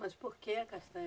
Mas por que, a castanha?